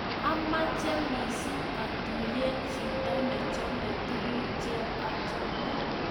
Ameche mising' atuyen chito ne chomei tuguk che achome